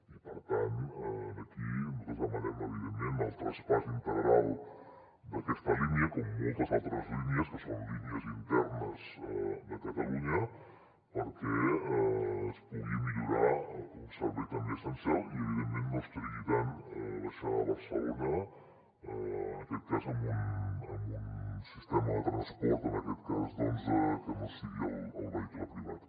i per tant aquí nosaltres demanem evidentment el traspàs integral d’aquesta línia com moltes altres línies que són línies internes de catalunya perquè es pugui millorar un servei també essencial i evidentment no es trigui tant a baixar a barcelona en aquest cas amb un sistema de transport que no sigui el vehicle privat